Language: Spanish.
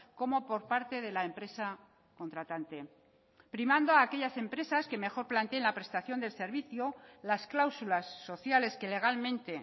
como por parte de la empresa contratante primando a aquellas empresas que mejor planteen la prestación del servicio las cláusulas sociales que legalmente